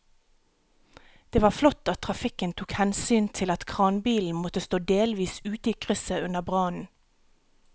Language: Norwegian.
Det var flott at trafikken tok hensyn til at kranbilen måtte stå delvis ute i krysset under brannen.